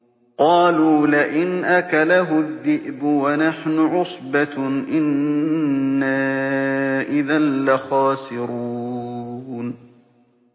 قَالُوا لَئِنْ أَكَلَهُ الذِّئْبُ وَنَحْنُ عُصْبَةٌ إِنَّا إِذًا لَّخَاسِرُونَ